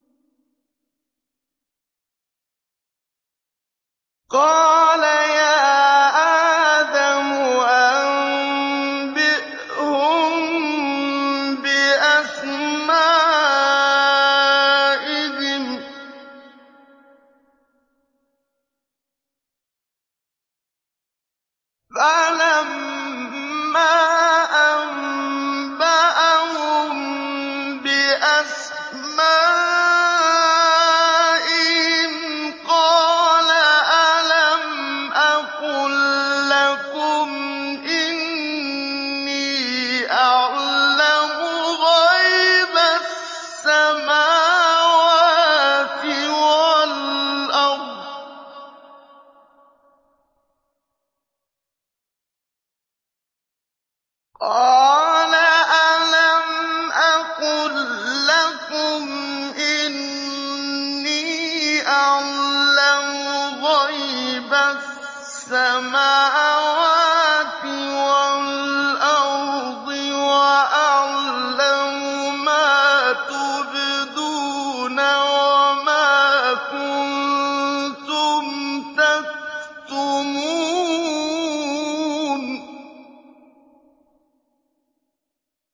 قَالَ يَا آدَمُ أَنبِئْهُم بِأَسْمَائِهِمْ ۖ فَلَمَّا أَنبَأَهُم بِأَسْمَائِهِمْ قَالَ أَلَمْ أَقُل لَّكُمْ إِنِّي أَعْلَمُ غَيْبَ السَّمَاوَاتِ وَالْأَرْضِ وَأَعْلَمُ مَا تُبْدُونَ وَمَا كُنتُمْ تَكْتُمُونَ